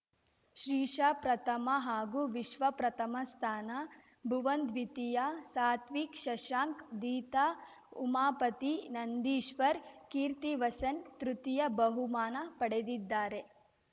ಶ್ರೀಶಾ ಪ್ರಥಮ ಹಾಗೂ ವಿಶ್ವ ಪ್ರಥಮ ಸ್ಥಾನ ಭುವನ್‌ ದ್ವಿತೀಯ ಸಾತ್ವಿಕ್‌ ಶಶಾಂಕ್‌ ದೀತಾ ಉಮಾಪತಿ ನಂದೀಶ್ವರ್‌ ಕೀರ್ತಿವಸನ್‌ ತೃತೀಯ ಬಹುಮಾನ ಪಡೆದಿದ್ದಾರೆ